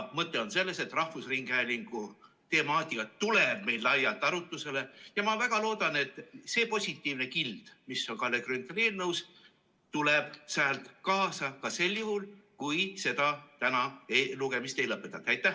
Mõte on selles, et rahvusringhäälingu temaatika tuleb meil laialt arutlusele, ja ma väga loodan, et see positiivne kild, mis on Kalle Grünthali eelnõus, tuleb sealt kaasa ka sel juhul, kui täna lugemist ei lõpetata.